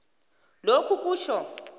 lokhu kutjho